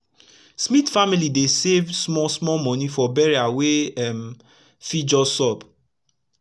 smith family dey save small small moni for burial wey um fit just sup